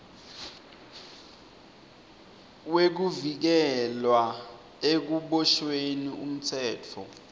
wekuvikelwa ekuboshweni umtsetfo